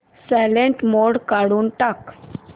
silent mode काढून टाक